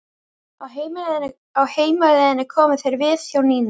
Á heimleiðinni komu þeir við hjá Nínu.